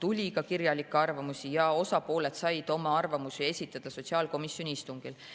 Neid tuligi, aga osapooled said oma arvamusi esitada ka sotsiaalkomisjoni istungil.